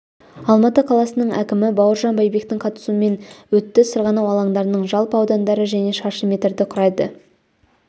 алматы қаласының әкімі бауыржан байбектің қатысуымен өтті сырғанау алаңдарының жалпы аудандары және шаршы метрді құрайды